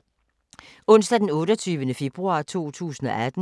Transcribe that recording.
Onsdag d. 28. februar 2018